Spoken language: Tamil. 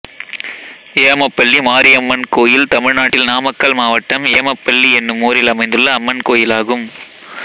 ஏமப்பள்ளி மாரியம்மன் கோயில் தமிழ்நாட்டில் நாமக்கல் மாவட்டம் ஏமப்பள்ளி என்னும் ஊரில் அமைந்துள்ள அம்மன் கோயிலாகும்